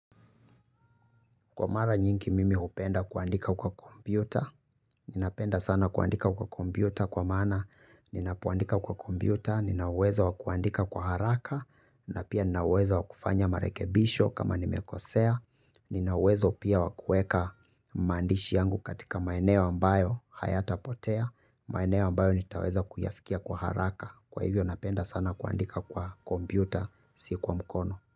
Kwa mara nyingi mimi hupenda kuandika kwa kompyuta, ninapenda sana kuandika kwa kompyuta kwa maana ninapoandika kwa kompyuta, ninauwezo wa kuandika kwa haraka, na pia ninauwezo wakufanya marekebisho kama nimekosea, ninauwezo pia wa kuweka maandishi yangu katika maeneo ambayo hayatapotea, maeneo ambayo nitaweza kuyafikia kwa haraka, kwa hivyo napenda sana kuandika kwa kompyuta si kwa mkono.